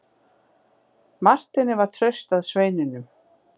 Marteini var traust að sveinunum.